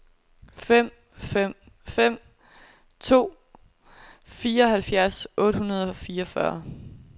fem fem fem to fireoghalvfjerds otte hundrede og fireogfyrre